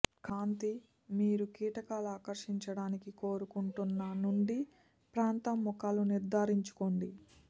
కాంతి మీరు కీటకాలు ఆకర్షించడానికి కోరుకుంటున్న నుండి ప్రాంతం ముఖాలు నిర్ధారించుకోండి